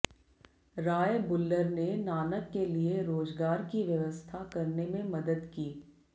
राय बुल्लर ने नानक के लिए रोजगार की व्यवस्था करने में मदद की